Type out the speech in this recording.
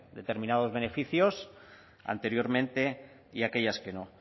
determinados beneficios anteriormente y aquellas que no